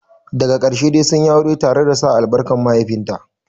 Daga ƙarshe dai sunyi aure tare da sa albarkar mahaifinta.